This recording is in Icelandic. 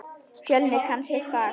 Fjölnir kann sitt fag.